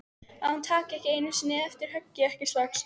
Að hún taki ekki einu sinni eftir höggi, ekki strax.